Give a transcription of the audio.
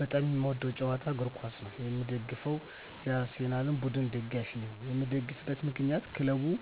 በጣም የምወደዉ ጨዋታ እግርኳስ ነዉ የምደግፈዉም የአርሰላን ቡድን ደጋፊ ነኝ የምደግፍበት ምክንያት ክለቡን